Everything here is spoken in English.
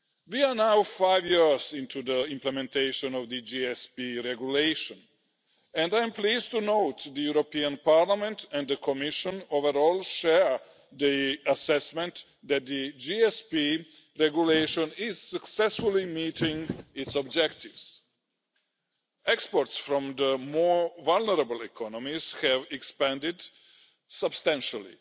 We are now five years into the implementation of the GSP Regulation and I am pleased to note that overall, the European Parliament and the Commission share the assessment that the GSP Regulation is successful in meeting its objectives. Exports from the more vulnerable economies have expanded substantially,